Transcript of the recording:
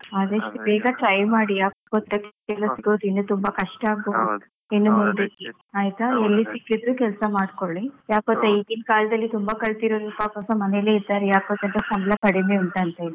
ಆದಷ್ಟು ಬೇಗ try ಮಾಡಿ, ಯಾಕ್ಗೊತ್ತ job ಎಲ್ಲ ಸಿಗೋದು ಇನ್ನು ತುಂಬಾ ಕಷ್ಟ ಆಗ್ಬಹುದು. ಆಯ್ತಾ? ಇನ್ನು ಮುಂದಕ್ಕೆ ಎಲ್ಲಿ ಸಿಕ್ಕಿದ್ರೂ ಕೆಲ್ಸ ಮಾಡ್ಕೊಳಿ. ಯಾಕ್ಗೊತ್ತಾ ಈಗಿನ ಕಾಲದಲ್ಲಿ ತುಂಬಾ ಕಲ್ತಿರೋರುಸ ಈವಾಗ ಮನೆಲ್ಲಿ ಇದ್ದಾರೆ, ಯಾಕ್ಗೊತ್ತಾ ಸಂಬಳ ಕಡಿಮೆ ಉಂಟಂತ ಹೇಳಿ.